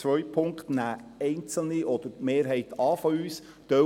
Den zweiten Punkt nehmen einzelne oder die Mehrheit von uns an;